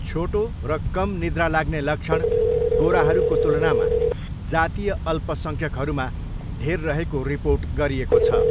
छोटो र कम निद्रा लाग्ने लक्षण गोराहरूको तुलनामा जातीय अल्पसङ्ख्यकहरूमा धेर रहेको रिपोर्ट गरिएको छ।